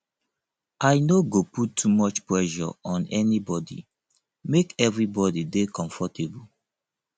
i no go put too much pressure on anybodi make everybodi dey comfortable